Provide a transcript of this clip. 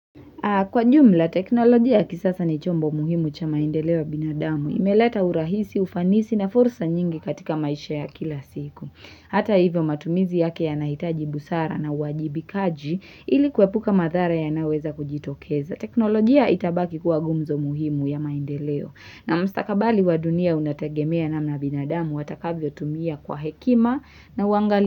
Kwa jumla, teknolojia ya kisasa ni chombo muhimu cha maendeleo ya binadamu. Imeleta urahisi, ufanisi na fursa nyingi katika maisha ya kila siku. Hata hivyo matumizi yake yanahitaji busara na uwajibikaji ili kuepuka madhara yanayoweza kujitokeza. Teknolojia itabaki kuwa gumzo muhimu ya maendeleo. Na mstakabali wa dunia unategemea namna binadamu atakavyo tumia kwa hekima na uangali.